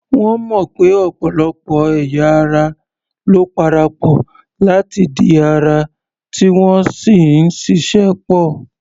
Wọ́n mọ̀ pé ọ̀pọ̀lọpọ̀ ẹ̀ya ara ló parapọ̀ láti di ara, tí wọ́n sì ń ṣịṣẹ́ pọ̀.